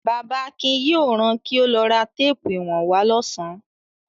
Bàbá Akin yóò ran kí ó lọ ra téépù ìwọ̀n wá lọ́sàn-án.